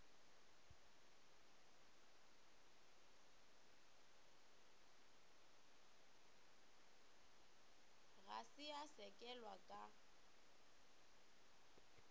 ga se ya sekegelwa ka